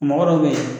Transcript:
Mɔgɔ dɔ bɛ ye